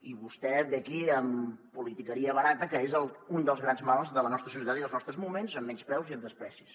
i vostè ve aquí amb politiqueria barata que és un dels grans mals de la nostra societat i dels nostres moments amb menyspreus i amb desprecis